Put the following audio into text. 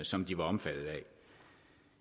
som de var omfattet af